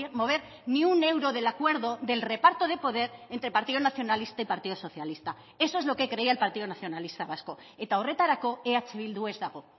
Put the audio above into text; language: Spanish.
mover ni un euro del acuerdo del reparto de poder entre partido nacionalista y partido socialista eso es lo que creía el partido nacionalista vasco eta horretarako eh bildu ez dago